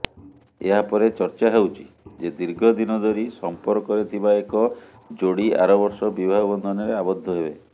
ଏହାପରେ ଚର୍ଚ୍ଚା ହେଉଛି ଯେ ଦୀର୍ଘଦିନଧରି ସଂପର୍କରେଥିବା ଏକ ଯୋଡି ଆର ବର୍ଷ ବିବାହ ବନ୍ଧନରେ ଆବଦ୍ଧ ହେବେ